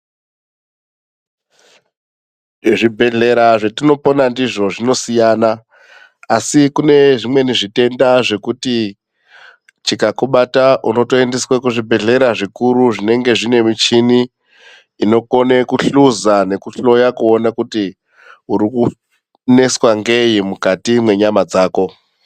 Zvibhedhlera zvetinopona ndizvo zvinosiyana asi kune zvimweni zvitenda zvokuti chikakubata unotoendeswa kuzvibhedhlera zvikuru zvinenge zvine michini mikuru inokone kuhluza nekuhloya kuona kuti urikuneswa ngei mukati mwenyama dzako.